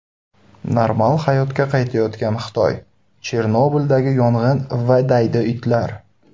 Normal hayotga qaytayotgan Xitoy, Chernobildagi yong‘in va daydi itlar.